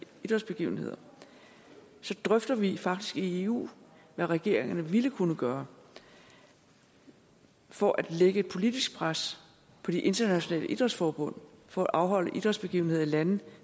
idrætsbegivenheder så drøfter vi faktisk i eu hvad regeringerne ville kunne gøre for at lægge et politisk pres på de internationale idrætsforbund for at afholde idrætsbegivenheder i lande